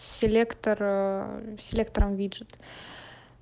селектор ээ селектором виджет